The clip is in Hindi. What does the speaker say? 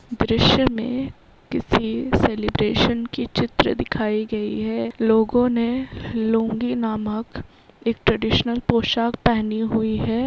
द्रश्य में किसी सेलिब्रेशन की चित्र दिखाई गयी है लोगों ने लुंगी नामक एक ट्रेडिशनल पोशाक पहनी हुवी है.